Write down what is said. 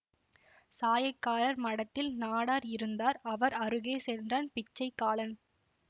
சாயக்காரர் மடத்தில் நாடார் இருந்தார் அவர் அருகே சென்றான் பிச்சைக்காலன்